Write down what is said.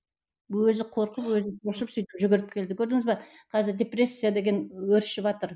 өзі қорқып өзі ұшып сөйтіп жүгіріп келді көрдіңіз бе қазір депрессия деген өршіватыр